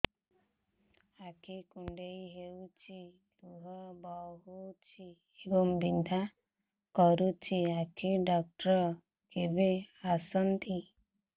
ଆଖି କୁଣ୍ଡେଇ ହେଉଛି ଲୁହ ବହୁଛି ଏବଂ ବିନ୍ଧା କରୁଛି ଆଖି ଡକ୍ଟର କେବେ ଆସନ୍ତି